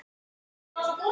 Svo tóku húsin að loga.